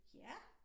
Ja